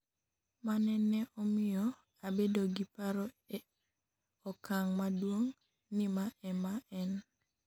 mane ne omiyo abedo gi paro e okang' maduong' ni ma ema en